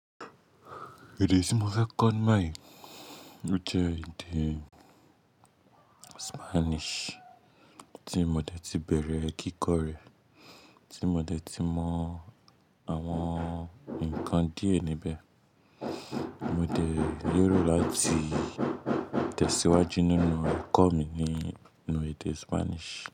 Èdè tí mo fẹ́ kọ́ ni òtítọ́ ni èdè Spanish tí mo ti bẹ̀rẹ̀ kíkọ rẹ̀, tí mo ti mọ àwọn ǹkan díẹ̀ níbẹ̀. Mo lè rí láti tẹ̀síwájú nínú ẹ̀kọ́ mi nínu èdè Spanish.